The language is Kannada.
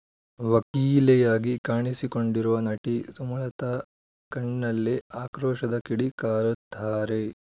ವಕೀಲೆಯಾಗಿ ಕಾಣಿಸಿಕೊಂಡಿರುವ ನಟಿ ಸುಮಲತಾ ಕಣ್ಣಲ್ಲೆ ಆಕ್ರೋಶದ ಕಿಡಿ ಕಾರುತ್ತಾರೆ